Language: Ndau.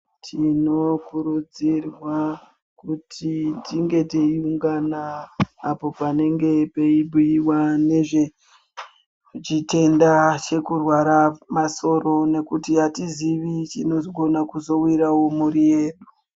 Tinokurudzirwa kuti tinge teiungana apo panenge peibhuyiwa nezvechitenda chekurwara masoro nekuti hatizivi chinogona kuzowirawo mhuri yedu.